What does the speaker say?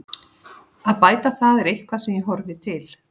Að bæta það er eitthvað sem ég horfi til.